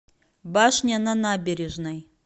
башня на набережной